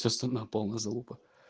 вся страна полная залупа